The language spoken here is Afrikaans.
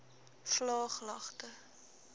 vlaaglagte